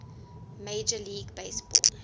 major league baseball